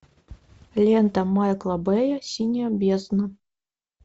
лента майкла бэя синяя бездна